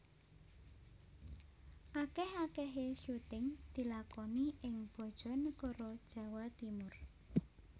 Akeh akehe syuting dilakoni ing Bojonegoro Jawa Timur